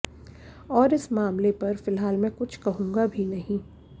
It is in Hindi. और इस मामले पर फिलहाल मैं कुछ कहूंगा भी नहीं